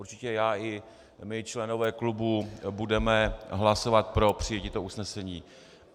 Určitě já i my, členové klubu, budeme hlasovat pro přijetí toho usnesení.